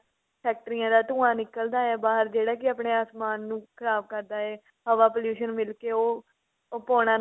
ਫੈਕਟਰੀਆਂ ਦਾ ਧੁੰਆ ਨਿਕਲਦਾ ਹੈ ਬਾਹਰ ਜਿਹੜਾ ਕਿ ਆਪਣੇ ਆਸਮਾਨ ਨੂੰ ਖ਼ਰਾਬ ਕਰਦਾ ਏ ਹਵਾ pollution ਮਿਲਕੇ ਉਹ ਉਹ ਪੋਣਾ